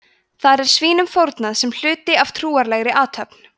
þar er svínum fórnað sem hluti af trúarlegri athöfn